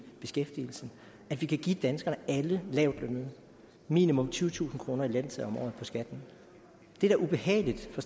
beskæftigelsen at vi kan give danskerne alle lavtlønnede minimum tyvetusind kroner i lettelse på skatten det er da ubehageligt for